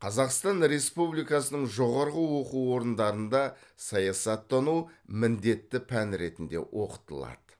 қазақстан республикасының жоғарғы оқу орындарында саясаттану міндетті пән ретінде оқытылады